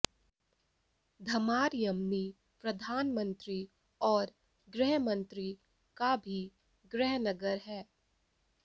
धमार यमनी प्रधानमंत्री और गृह मंत्री का भी गृहनगर है